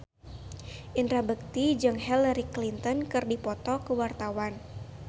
Indra Bekti jeung Hillary Clinton keur dipoto ku wartawan